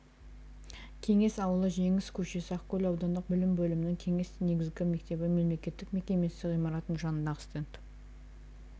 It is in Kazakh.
кеңес ауылы жеңіс көшесі ақкөл аудандық білім бөлімінің кеңес негізгі мектебі мемлекеттік мекемесі ғимаратының жанындағы стенд